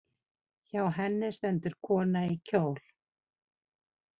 Hjá henni stendur kona í kjól.